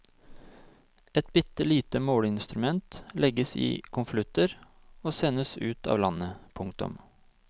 Et bitte lite måleinstrument legges i konvolutter og sendes ut av landet. punktum